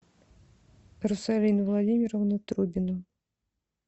русалину владимировну трубину